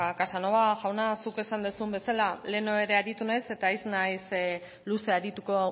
casanova jauna zuk esan duzun bezala lehen ere aritu naiz eta ez naiz luze arituko